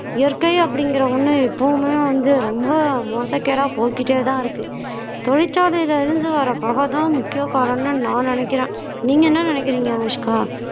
இயற்கை அப்படிங்கற ஒண்ணு எப்பவுமே வந்து ரொம்ப மோசக்கேடா போய்க்கிட்டேதான் இருக்கு தொழிற்சாலையில இருந்து வர புகைதான் முக்கிய காரணம்னு நான் நினைக்கிறேன் நீங்க என்ன நினைக்கிறீங்க அனுஷ்கா